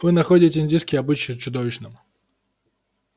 вы находите индийский обычай чудовищным